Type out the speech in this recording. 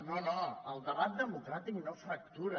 no no el debat democràtic no fractura